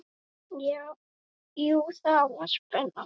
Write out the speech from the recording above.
Jú, það var spenna.